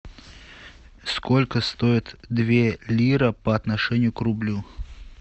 сколько стоит две лиры по отношению к рублю